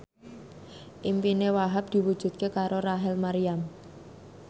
impine Wahhab diwujudke karo Rachel Maryam